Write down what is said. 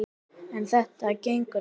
En þetta gengur ekki!